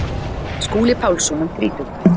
Skúli Pálsson um þrítugt.